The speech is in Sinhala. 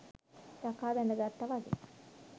යකා බැඳ ගත්තා වගේ !